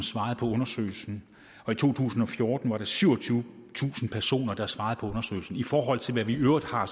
svare på undersøgelsen i to tusind og fjorten var der syvogtyvetusind personer der svarede på undersøgelsen i forhold til hvad vi i øvrigt har